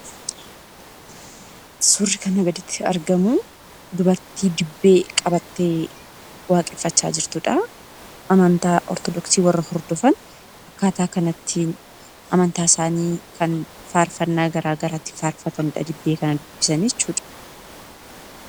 Suurri kanaa gaditti argamu, dubartii dibbee qabattee waaqeffachaa jirtudha. Amantaa Ortodoksi warra hondofan akkaataa kanattiin amantaa isaanii kan faarfannaa garagaraatiin faarfatanidha. Dibbee kana dubbisanii jechuudha.